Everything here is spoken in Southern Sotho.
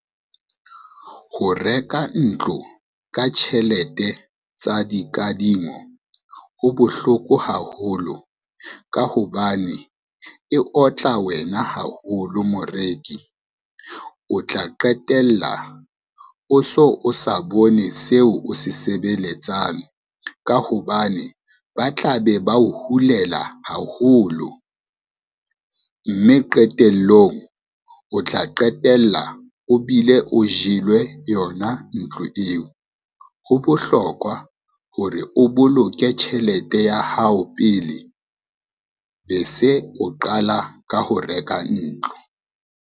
Ho reka ntlo ka tjhelete tsa dikadimo ho bohloko haholo ka hobane e otla wena haholo moreki. O tla qetella o so o sa bone seo o se sebeletsang, ka hobane ba tla be ba o hulela haholo, mme qetellong o tla qetella o bile o jelwe yona ntlo eo. Ho bohlokwa hore o boloke tjhelete ya hao pele be se o qala ka ho reka ntlo.